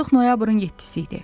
Artıq noyabrın 7-si idi.